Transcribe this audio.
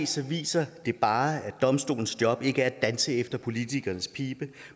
se viser det bare at domstolens job ikke er at danse efter politikernes pibe